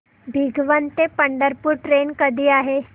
भिगवण ते पंढरपूर ट्रेन कधी आहे